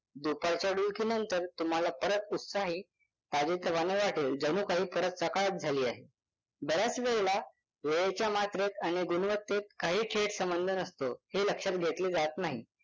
दुपारच्या डुलकीनंतर तुम्हाला परत उत्साही ताजेतवाने वाटेल जणू काही परत सकाळच झाली आहे. बऱ्याच वेळेला वेळेच्या मात्रेत आणि गुणवत्तेत काहीही थेट संबंध नसतो हे लक्षात घेतले जात नाही.